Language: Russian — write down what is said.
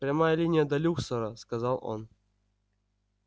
прямая линия до люксора сказал он